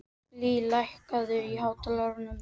Lea, lækkaðu í hátalaranum.